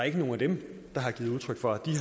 ikke nogen af dem der har givet udtryk for at de